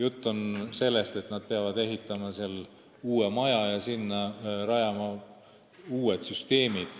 Asi on selles, et nad peavad ehitama uue maja ja sinna rajama uued süsteemid.